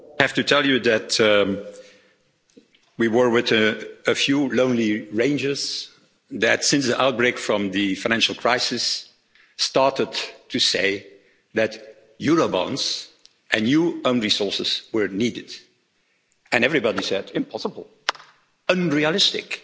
I have to tell you that we were with a few lone rangers that, since the outbreak of the financial crisis, started to say that eurobonds and new own resources were needed, and everybody said, impossible, unrealistic,